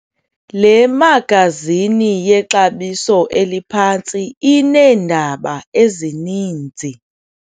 Le magazini yexabiso eliphantsi ineendaba ezininzi.